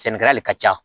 Sɛnɛkɛla de ka ca